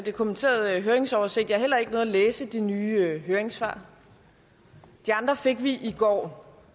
kommenterede høringsoversigt jeg har heller ikke nået at læse de nye høringssvar de andre fik vi i går